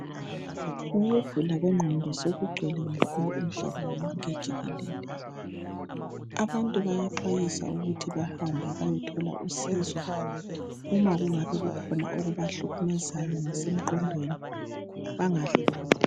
Ukugula kwengqondo sokugcwele kakhulu umhlaba wonke jikelele. Abantu bayaxwayiswa ukuba bahambe bayothola usizo uma kukhona okubahlukumezayo ngasemqondweni.